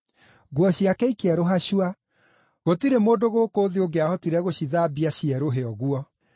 Nguo ciake ikĩerũha cua; gũtirĩ mũndũ gũkũ thĩ ũngĩahotire gũcithambia cierũhe ũguo.